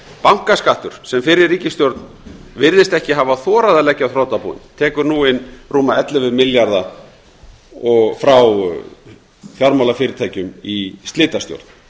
bankaskattur sem fyrri ríkisstjórn virðist ekki hafa þorað að leggja á þrotabúin tekur nú inn rúma ellefu milljarða frá fjármálafyrirtækjum í slitastjórn